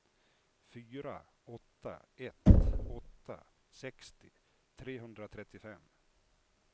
fyra åtta ett åtta sextio trehundratrettiofem